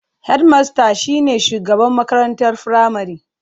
Hedmasta shine shugaban makarantar firamare.